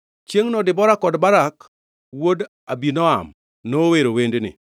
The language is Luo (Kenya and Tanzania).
Chiengʼno Debora kod Barak wuod Abinoam nowero wendni: